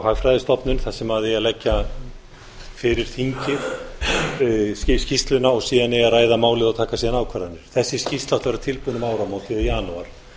hagfræðistofnun þar sem eigi að leggja fyrir þingið skýrsluna og síðan eigi að ræða málið og taka síðan ákvarðanir þessi skýrsla átti að vera tilbúin um áramót eða í janúar